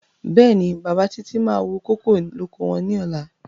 Bẹ́ẹ̀ni, bàbá Títí máa wú kókò lóko wọn ní ọ̀la.